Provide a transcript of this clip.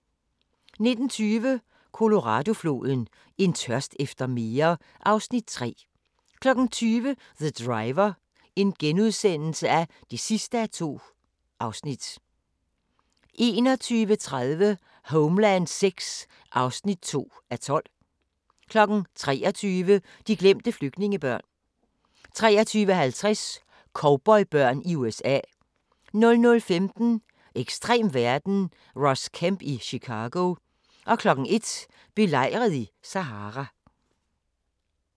19:20: Colorado-floden: En tørst efter mere (Afs. 3) 20:00: The Driver (2:2)* 21:30: Homeland VI (2:12) 23:00: De glemte flygtningebørn 23:50: Cowboybørn i USA 00:15: Ekstrem verden – Ross Kemp i Chicago 01:00: Belejret i Sahara